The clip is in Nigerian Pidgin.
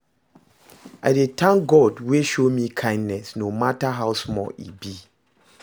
I dey tank dose wey show me kindness, no mata how small e be